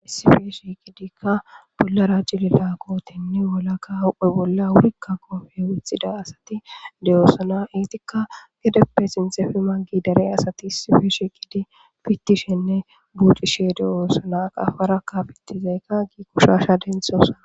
Issipe shiqidi bolara cilila kotene ba huphe bola wurika qofe wothida asati de'osona etika hedefe sinthepe domidi dere asati issi bolla shiqidi fitishene bucishe de'osona atidayka bura denthosona